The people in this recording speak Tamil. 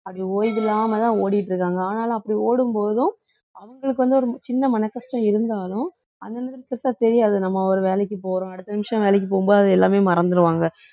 அப்படி ஓய்வு இல்லாமதான் ஓடிட்டு இருக்காங்க ஆனாலும் அப்படி ஓடும்போதும் அவங்களுக்கு வந்து ஒரு சின்ன மனக்கஷ்டம் இருந்தாலும்அந்த பெருசா தெரியாது நம்ம ஒரு வேலைக்கு போறோம் அடுத்த நிமிஷம் வேலைக்கு போகும்போது அது எல்லாமே மறந்துருவாங்க